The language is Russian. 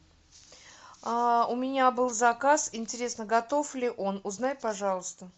у меня был заказ интересно готов ли он узнай пожалуйста